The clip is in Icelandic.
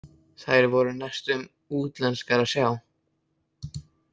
Þær voru næstum útlenskar að sjá.